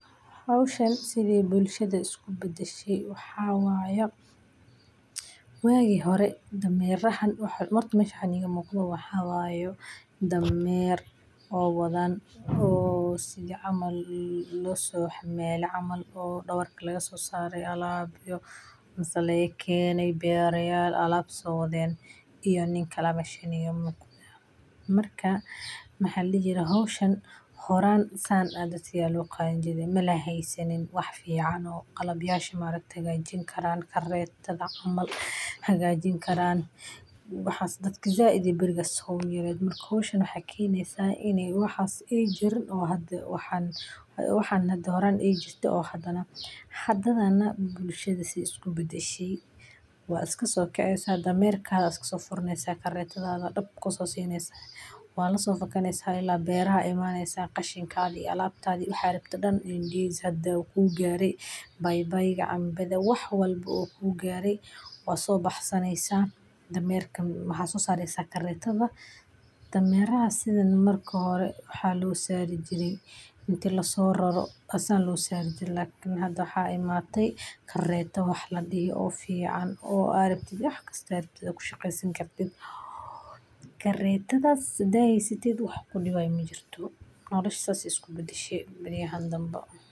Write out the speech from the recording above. Howshan sidhey bulshada isku bedeshe waxa waya ,wagi hore damerahan iyo waxan ,Mid ka mid ah isbeddelada ugu waaweyn waa horumarka dhanka gaadiidka iyo dhismaha waddooyinka. Meelo badan oo miyiga ah ayaa maanta helay waddooyin laami ah ama waddooyin si wanaagsan loo dayactiray, taasoo fududeysay in baabuurta yaryar iyo kuwa waaweyn ay gaaraan. Tani waxay sababtay in baabuurta la isticmaalo halkii hore dameeraha lagu aamini jiray. Lakin hada waxa imatey kareta wax ladihi oo fican oo aad ku shaqeyn sani ,karetadas hadad heysatid wax kudiwayo majirto nolosha sas bey iksu bedeshe baryahan danba.